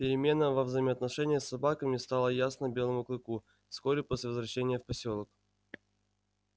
перемена во взаимоотношениях с собаками стала ясна белому клыку вскоре после возвращения в посёлок